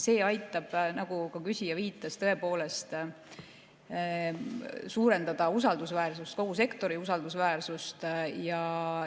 See aitab, nagu ka küsija viitas, tõepoolest suurendada usaldusväärsust, kogu sektori usaldusväärsust.